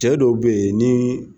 Cɛ dɔw be yen nii